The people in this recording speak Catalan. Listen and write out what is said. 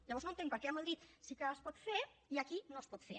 llavors no entenc per què a madrid sí que es pot fer i aquí no es pot fer